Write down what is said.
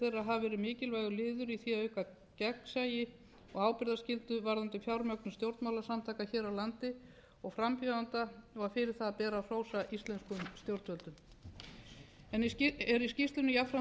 hafi verið mikilvægur liður í því að auka gegnsæi og ábyrgðarskyldu varðandi fjármögnun stjórnmálasamtaka hér á landi og frambjóðenda og fyrir það ber að hrósa íslenskum stjórnvöldum er í skýrslunni jafnframt staðfest að löggjöfin